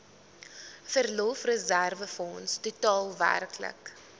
verlofreserwefonds totaal werklik